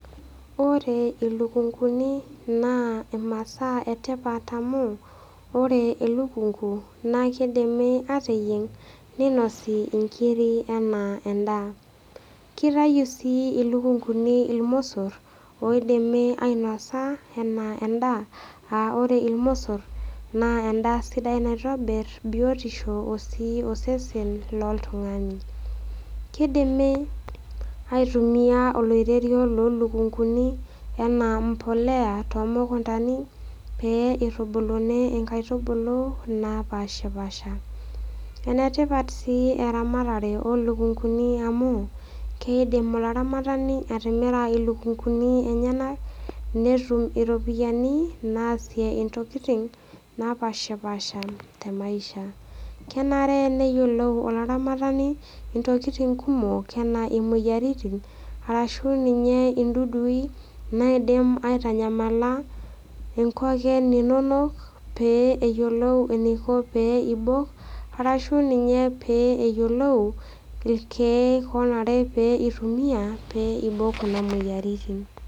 Ore ilukunguni naa imasaa e tipat amu ore elukungu naa keidimi ateyieng' neinosi inkiri anaa endaa. Keitayu sii ilukunguni ilmosor oidimi ainosa anaa endaa, aa ore ilmosor naa endaa sidai naitobir biotisho osesen loltung'ani. Keidimi aitumia oloirerio loo ilukunguni anaa embolea too mukuntani pee neitubuluni inkaitubulu napaashipaasha. Ene tipat sii eramatare oo ilukunguni amu, keidim olaramatani atimira ilukunguni enyena netum iropiani naasie intokitin napaashipaasha te maisha. Kenare neyioulou olaramatani intokitin kumok anaa imoyaritin arashu ninye indudui naidim aitanyamala inkoken inono, pee eyiolou eneiko pee eibooyo, arashu ninye pee eyiolou ilkeek onare neitumiya pee eibok Kuna moyiaritin.